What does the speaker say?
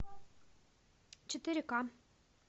четыре ка